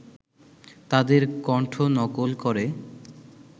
তাদের কণ্ঠ নকল করে